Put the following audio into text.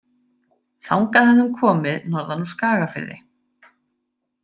Þangað hafði hún komið norðan úr Skagafirði.